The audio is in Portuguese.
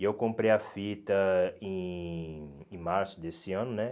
E eu comprei a fita em em março desse ano, né?